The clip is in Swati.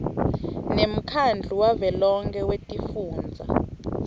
nemkhandlu wavelonkhe wetifundza